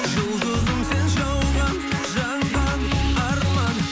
жұлдызым сен жауған жанған арман